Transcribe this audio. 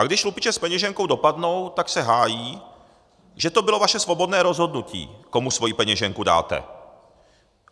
A když lupiče s peněženkou dopadnou, tak se hájí, že to bylo vaše svobodné rozhodnutí, komu svoji peněženku dáte.